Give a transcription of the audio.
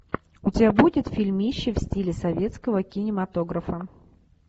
у тебя будет фильмище в стиле советского кинематографа